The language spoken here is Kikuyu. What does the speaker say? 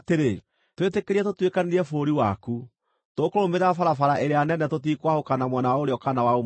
“Twĩtĩkĩrie tũtuĩkanĩrie bũrũri waku. Tũkũrũmĩrĩra barabara ĩrĩa nene tũtikwahũka na mwena wa ũrĩo kana wa ũmotho.